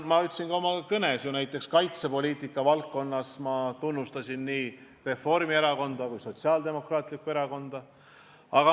Ma ütlesin ka oma kõnes, et näiteks kaitsepoliitika valdkonnas tehtu eest ma tunnustan nii Reformierakonda kui Sotsiaaldemokraatlikku Erakonda.